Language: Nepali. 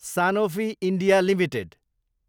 Sanofi India Ltd